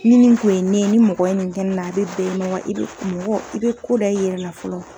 Ni nin kun ye ne ye, ni mɔgɔ ye nin kɛ ne la a be bɛn i ma wa , i be mɔgɔ i bɛ ko da i yɛrɛ la fɔlɔ.